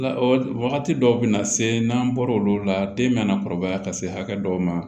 Wagati dɔw bɛ na se n'an bɔra olu la den mana kɔrɔbaya ka se hakɛ dɔw ma